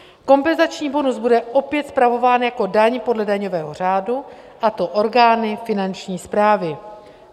Kompenzační bonus bude opět spravován jako daň podle daňového řádu, a to orgány finanční správy.